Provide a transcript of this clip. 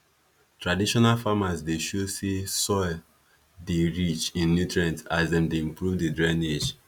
traditional farmers dey show say soil dey rich in nutrient as dem dey improve the drainage